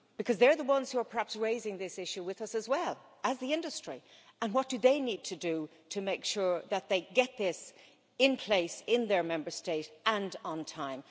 Because they are the ones who are perhaps raising this issue with us as well as the industry, and what do they need to do to make sure that they get this in place in their Member State and on time?